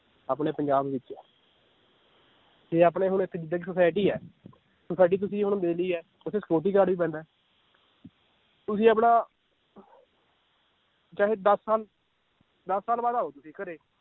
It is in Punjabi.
ਆਪਣੇ ਪੰਜਾਬ ਵਿਚ ਤੇ ਆਪਣੇ ਹੁਣ society ਹੈ society ਤੁਸੀਂ ਹੁਣ ਹੈ, ਓਥੇ security guard ਵੀ ਬੈਂਦਾ ਏ ਤੁਸੀਂ ਆਪਣਾ ਚਾਹੇ ਦਸ ਸਾਲ ਦਸ ਸਾਲ ਬਾਅਦ ਆਓ ਤੁਸੀਂ ਘਰੇ